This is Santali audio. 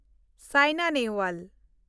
ᱥᱟᱭᱱᱟ ᱱᱮᱦᱣᱟᱞ